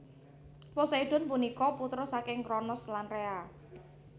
Poseidon punika putra saking Kronos lan Rea